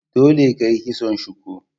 Dole ka yi kison shuku!